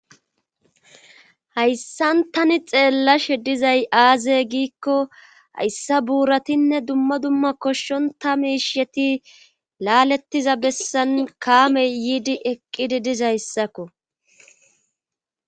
hayssan tani xeellashe dizay aaze giikko hayssa buuratinne dumma dumma koshshon tamishiyeti laalettiza bessan kaame yiidi eqqidi dizayssakko